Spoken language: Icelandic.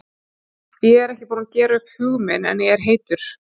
Ég er ekki búinn að gera upp hug minn en ég er heitur.